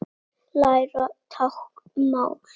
Læra táknmál